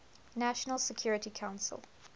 national security council